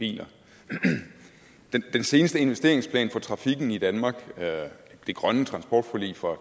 biler i den seneste investeringsplan for trafikken i danmark det grønne transportforlig fra